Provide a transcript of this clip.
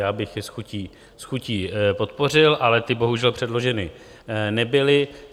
Já bych je s chutí podpořil, ale ty bohužel předloženy nebyly.